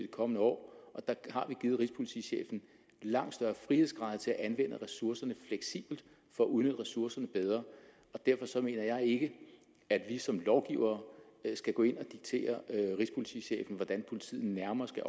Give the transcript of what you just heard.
kommende år der har vi givet rigspolitichefen langt større frihedsgrader til at anvende ressourcerne fleksibelt for at udnytte ressourcerne bedre derfor mener jeg ikke at vi som lovgivere skal gå ind og diktere rigspolitichefen hvordan politiet nærmere skal